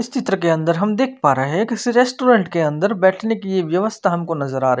इस चित्र के अंदर हम देख पा रहे है किसी रेस्टोरेंट के अंदर बैठने कि ये व्यवस्था हमको नजर आ रही है।